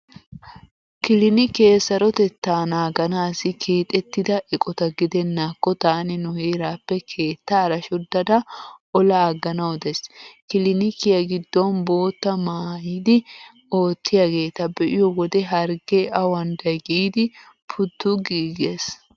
Kilinikee sarotettaa naaganaassi keexettida eqota gidennaakko taani nu heeraappe keettaara shoddada ola agganawu daysi. Kilinikiya giddon boottaa maayidi oottiyaageeta be'iyo wode harggee awanday giiddi puttu giigees.